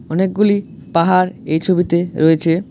অনেকগুলি পাহাড় এই ছবিতে রয়েছে।